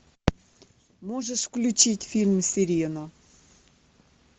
можешь включить фильм сирена